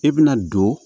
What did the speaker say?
I bɛna don